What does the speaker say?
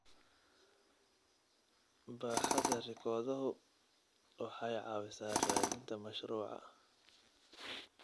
Baaxadda rikoodhadu waxay caawisaa raadinta mashruuca.